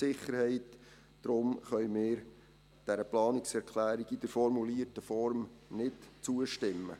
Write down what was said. Deshalb können wir dieser Planungserklärung in der formulierten Form nicht zustimmen.